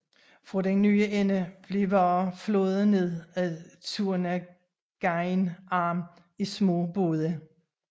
Fra den nye ende blev varer flådet ned ad Turnagain Arm i små både